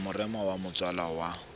wa lerama la motswala wa